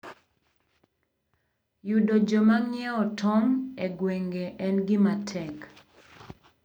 Yudo joma ng'iewo tong' e gwenge en gima tek.